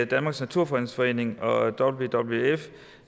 danmarks naturfredningsforening og wwf